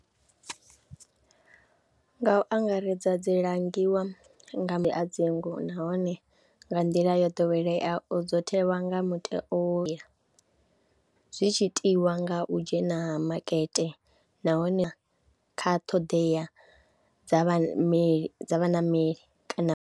Nga u angaredza dzi langiwa nga madzingu nahone nga nḓila yo ḓoweleaho dzo thewa nga zwi tshi itiwa nga u dzhena makete nahone kha ṱhoḓea dza vhaṋameli dza vhaṋameli kana.